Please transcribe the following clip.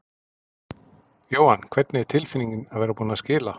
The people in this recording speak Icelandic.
Jóhann: Hvernig er tilfinningin að vera búinn að skila?